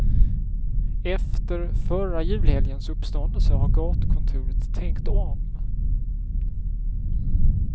Efter förra julhelgens uppståndelse har gatukontoret tänkt om.